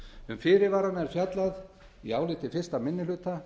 um fyrirvarana er fjallað í áliti fyrsti minni hluta